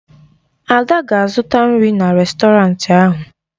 Ada ga-azụta nri na rèstọrantị ahụ.